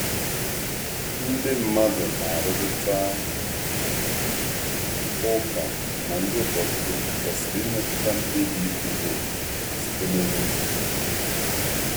Ndị mmadụ na-arụrịta ụka ma ndị ụkọchukwu kwesịrị imetụta mkpebi ịtụ vootu site n’okwuchukwu.